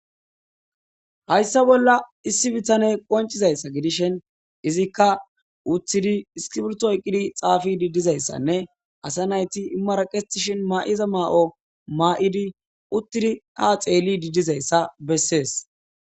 Hayssa bolla issi bitaney qoncizayssa gidishin izikka uttidi iskibirto oykidi xaafidi dizayssanne asa nayti maraqetishin maa7iza maa7o maa7idi uttidi ha xeelidi dizayssa bessees.